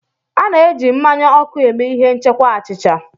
A na-eji mmanya ọkụ eme ihe nchekwa achịcha.